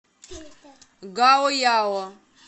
гаояо